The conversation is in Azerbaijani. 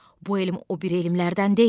Bu elm o bir elmlərdən deyil.